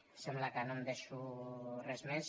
em sembla que no em deixo res més